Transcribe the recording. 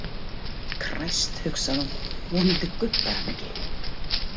Kræst, hugsaði hún, vonandi gubbar hann ekki.